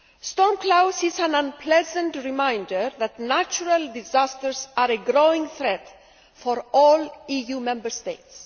Storm Klaus is an unpleasant reminder that natural disasters are a growing threat for all EU Member States.